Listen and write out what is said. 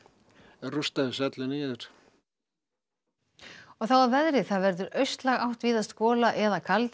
rústa þessu öllu niður og þá að veðri það verður austlæg átt víðast gola eða kaldi en